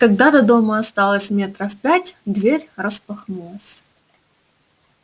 когда до дома осталось метров пять дверь распахнулась